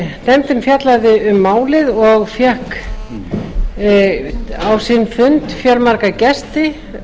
nefndin fjallaði um málið og fékk á sinn fund fjölmarga gesti